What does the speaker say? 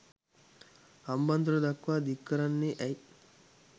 හම්බන්තොට දක්වා දික්කරන්නේ ඇයි.